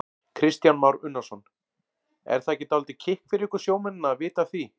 Kristján Már Unnarsson: Er það ekki dálítið kikk fyrir ykkur sjómennina að vita af því?